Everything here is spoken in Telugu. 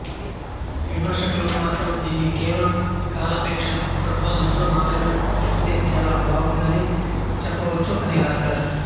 విమర్శకులు మాత్రం దీన్ని కేవలం కాలక్షేప దృక్ఫథంతో మాత్రమే చూస్తే చాలా బాగుందని చెప్పవచ్చు అని రాశారు